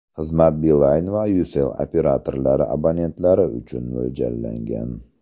Xizmat Beeline va Ucell operatorlari abonentlari uchun mo‘ljallangan.